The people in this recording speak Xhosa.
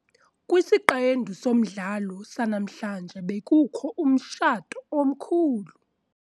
Kwisiqendu somdlalo sanamhlanje bekukho umtshato omkhulu.